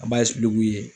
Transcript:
An b'a